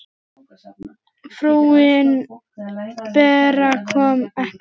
Frúin Bera kom ekki.